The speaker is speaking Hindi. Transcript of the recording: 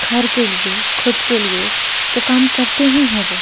घर के लिए खुद के लिए तो काम करते ही हैं वो।